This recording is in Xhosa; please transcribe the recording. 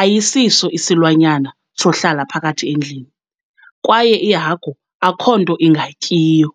ayisiso isilwanyana sohlala phakathi endlini, kwaye ihagu akhonto ingayityiyo.